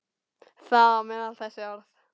Þar á meðal þessi orð.